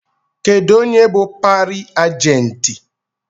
Kedụ onye bụ pari ajenti?